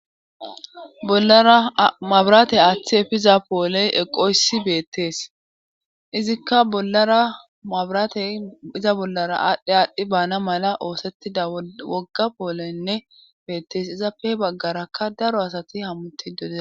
bolara mabiratey aaththi efiiza pooley eqoyssi beettees izikka baramrateyiza bollara aadhdhe aadhdhi baana mala oosettida wogga poolenne beettees izappe baggarakka daro asati hammutidodea